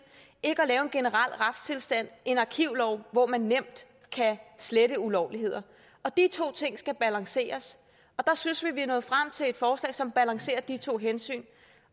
ikke at lave en generel retstilstand en arkivlov hvor man nemt kan slette ulovligheder og de to ting skal balanceres der synes vi vi er nået frem til et forslag som balancerer de to hensyn